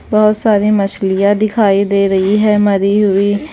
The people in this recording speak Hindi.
बहुत सारी मछलियाँ दिखाई दे रही हैं मरी हुई।